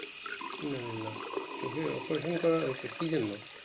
চোখের operation করা হয়েছে কি জন্য